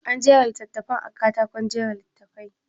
An jera littattafan a katakon jera littafi?